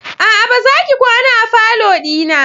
A'a! Bazaki kwana a falo dina.